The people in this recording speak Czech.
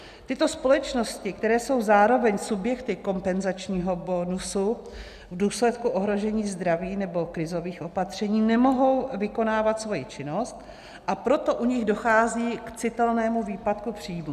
Tyto společnosti, které jsou zároveň subjekty kompenzačního bonusu, v důsledku ohrožení zdraví nebo krizových opatření nemohou vykonávat svoji činnost, a proto u nich dochází k citelnému výpadku příjmů.